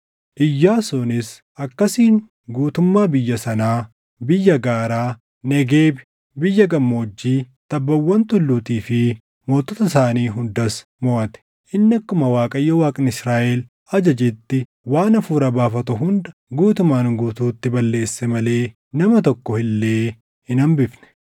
Iyyaasuunis akkasiin guutummaa biyya sanaa, biyya gaaraa, Negeebi, biyya gammoojjii, tabbawwan tulluutii fi mootota isaanii hundas moʼate. Inni akkuma Waaqayyo Waaqni Israaʼel ajajetti waan hafuura baafatu hunda guutumaan guutuutti balleesse malee nama tokko illee hin hambifne.